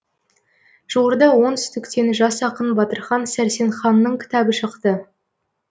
жуырда оңтүстіктен жас ақын батырхан сәрсенханның кітабы шықты